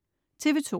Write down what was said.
TV2: